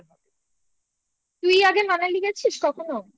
তুই আগে Manali গেছিস কখনো?